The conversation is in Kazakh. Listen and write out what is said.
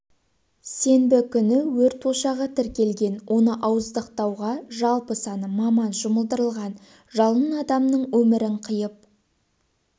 сенбі күні өрт ошағы тіркелген оны ауыздықтауға жалпы саны маман жұмылдырылған жалын адамның өмірін қиып